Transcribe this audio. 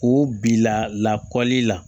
O bila lakɔli la